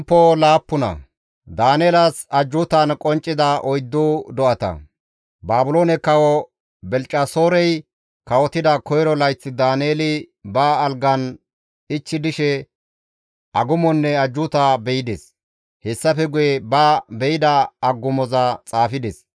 Baabiloone kawo Belishaxoorey kawotida koyro layth Daaneeli ba algan ichchi dishe agumonne ajjuuta be7ides; hessafe guye ba be7ida agumoza xaafides.